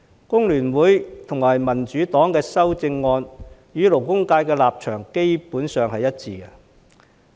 工聯會和民主黨的修正案與勞工界的立場基本上是一致的。